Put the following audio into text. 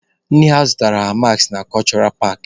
Nne ha zụtaara ha maskị na kọshụra paakị.